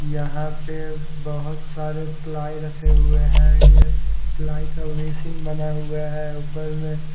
यहां पे बहुत सारे प्लाई रखे हुए हैं यह प्लाई तो बेसिन बना हुआ है ऊपर में।